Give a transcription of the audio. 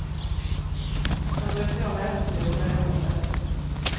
Han bryr sig om äventyr på det rätta sättet.